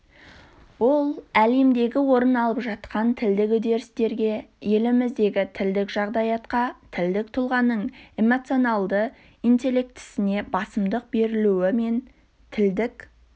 ол әлемде орын алып жатқан тілдік үдерістерге еліміздегі тілдік жағдаятқа тілдік тұлғаның эмоционалды интеллектісіне басымдық берілуі мен тілдік